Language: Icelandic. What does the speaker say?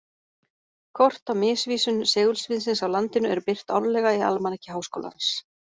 Kort af misvísun segulsviðsins á landinu eru birt árlega í Almanaki Háskólans.